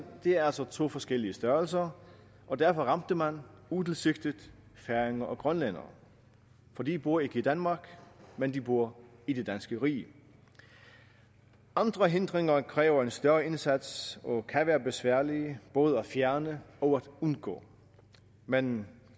det er altså to forskellige størrelser og derfor ramte man utilsigtet færinger og grønlændere for de bor ikke i danmark men de bor i det danske rige andre hindringer kræver en større indsats og kan være besværlige både at fjerne og undgå men